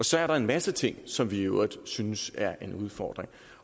så er der en masse ting som vi i øvrigt synes er en udfordring